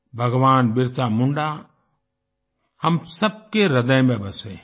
भगवान बिरसा मुंडा हम सब के ह्रदय में बसे हैं